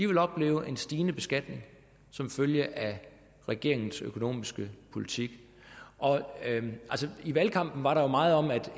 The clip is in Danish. vil opleve en stigende beskatning som følge af regeringens økonomiske politik i valgkampen var der jo meget om at